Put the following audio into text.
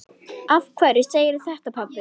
Af hverju segirðu þetta, pabbi?